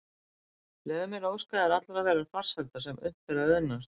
Leyfðu mér að óska þér allrar þeirrar farsældar sem unnt er að auðnast.